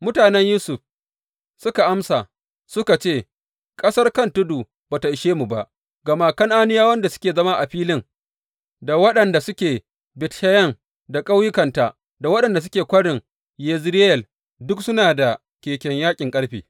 Mutanen Yusuf suka amsa suka ce, Ƙasar kan tudu ba ta ishe mu ba, ga kuma Kan’aniyawan da suke zama a filin, da waɗanda suke Bet Sheyan da ƙauyukanta, da waɗanda suke Kwarin Yezireyel, duk suna da keken yaƙin ƙarfe.